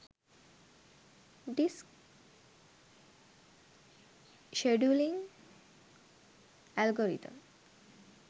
disk scheduling algorithm